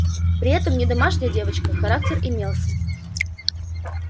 при этом не домашняя девочка характер имелся